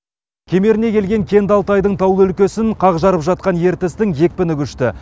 кемеріне келген кенді алтайдың таулы өлкесін қақ жарып жатқан ертістің екпіні күшті